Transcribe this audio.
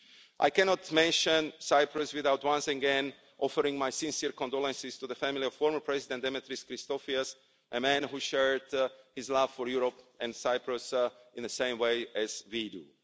I cannot mention Cyprus without once again offering my sincere condolences to the family of former President Dimitris Christofias, a man who shared his love for Europe and Cyprus in the same way as we do.